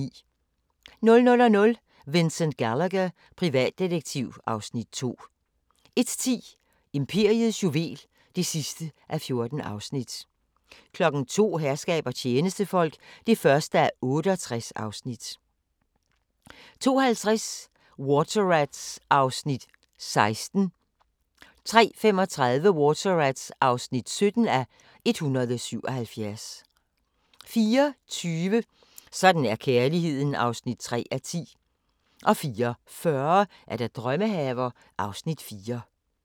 00:00: Vincent Gallagher, privatdetektiv (Afs. 2) 01:10: Imperiets juvel (14:14) 02:00: Herskab og tjenestefolk (1:68) 02:50: Water Rats (16:177) 03:35: Water Rats (17:177) 04:20: Sådan er kærligheden (3:10) 04:40: Drømmehaver (Afs. 4)